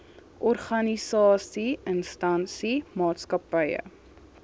organisasies instansies maatskappye